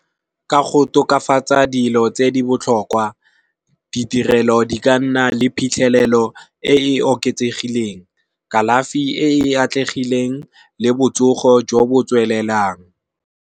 Ka go tokafatsa dilo tse di botlhokwa, ditirelo di ka nna le phitlhelelo e e oketsegileng. Kalafi e e atlegileng le botsogo jo bo tswelelang.